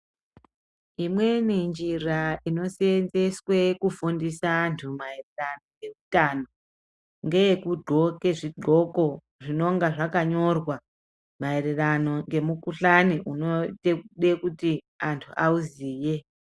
Imweni njira inoseenzeswa kufundisa antu maererano neutano ngeyekughloke zvighloko zvinenge zvakanyorwa maererano ngemukhuhlani unoita kuti antu auziye.